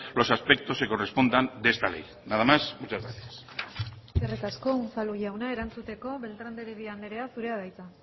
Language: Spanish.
los aspectos que correspondan de esta ley nadas más y muchas gracias eskerrik asko unzalu jauna erantzuteko beltrán de heredia andrea zurea da hitza